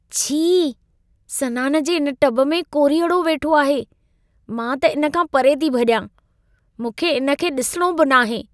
छी! सनान जे इन टब में कोरीअड़ो वेठो आहे। मां त इन खां परे थी भॼां । मूंखे इन खे ॾिसिणो बि नाहे।